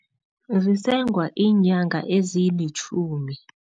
Zisengwa iinyanga ezilitjhumi.